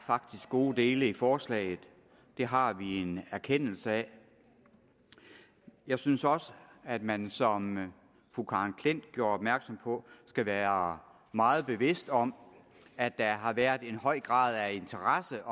gode dele i forslaget det har vi en erkendelse af jeg synes også at man som fru karen klint gjorde opmærksom på skal være meget bevidst om at der har været en høj grad af interesse